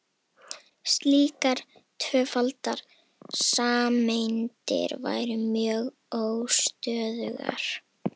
slíkar tvöfaldar sameindir væru mjög óstöðugar